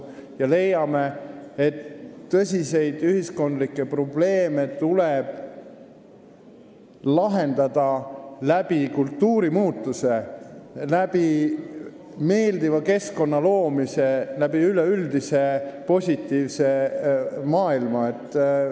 Me leiame, et tõsiseid ühiskondlikke probleeme tuleb lahendada kultuurimuutusega, meeldiva keskkonna loomisega, üleüldise positiivse maailma abil.